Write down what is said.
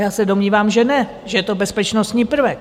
Já se domnívám, že ne, že to je bezpečnostní prvek.